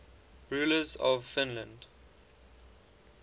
rulers of finland